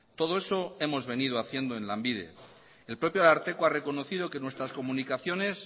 todo eso hemos venido haciendo en lanbide el propio ararteko ha reconocido que nuestras comunicaciones